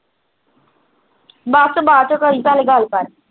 ਬਸ ਬਾਦ ਚੋਂ ਕਰੀ ਪਹਿਲੇ ਗੱਲ ਕਰ